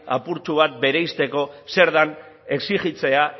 apurtxo bat bereizteko zer den exijitzea